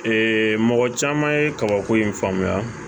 mɔgɔ caman ye kabako in faamuya